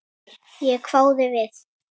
Ég hváði við.